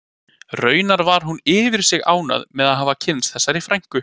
Raunar var hún yfir sig ánægð með að hafa kynnst þessari frænku